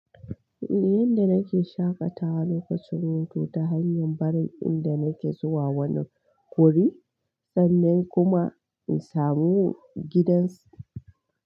Yanda nake shaƙatawa lokacin hutu ta hanyar barin inda nake zuwa wani wuri sannan kuma in samu gidansu.